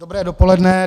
Dobré dopoledne.